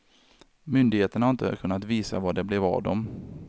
Myndigheterna har inte kunnat visa vad det blev av dem.